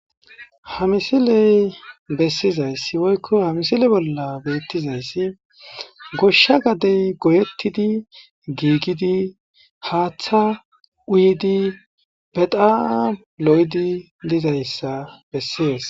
hamisiley bessizayssi woykko hamisile bolla beettizayssi goshsha gadey goyettidi giigidi haaththa uyidi betam lo7edi dizayssa bessies